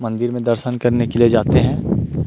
मंदिर मे दर्शन करने के लिये जाते है।